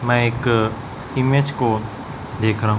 मैं एक ईमेज को देख रहा हूं।